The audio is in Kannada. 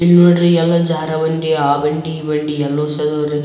ಇವ್ ನೋಡ್ರಿ ಎಲ್ಲ ಜಾರಬಂಡಿ ಆ ಬಂಡಿ ಈ ಬಂಡಿ ಎಲ್ಲ ರೀ ಇಲ್ಲಿ--